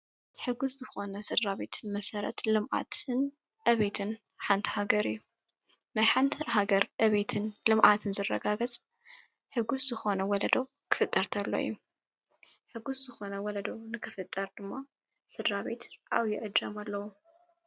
ሕጉሥ ዝኾነ ሥድራቤት መሠረት ልምኣትን ዕቤትን ሓንታሃገር እዩ ናይ ሓንተ ሃገር አቤትን ልምኣትን ዘረጋገጽ ሕጉሥ ዝኾነ ወለዶ ክፍጠርትኣሎ ዩ ሕጉሥ ዝኾነ ወለዶ ንክፍጠር ድማ ሥድራቤት ኣው ይእጀም ኣለዉ።